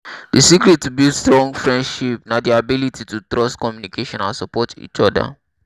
di secret to build strong friendship na di ability to trust communicate and support each oda.